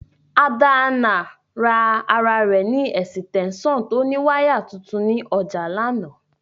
Adana ra ara re esitensan to ni wire tuntun ni oja lana.